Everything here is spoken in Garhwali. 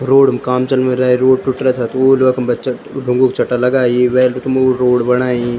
रोड म काम चल्नु रे रोड टूट रा था तो वेळ वखम बच्चा ढुंगु क चट्टा लगायी वेळ वखमा वू रोड बणाई।